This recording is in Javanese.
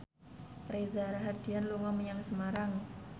Reza Rahardian dolan menyang Semarang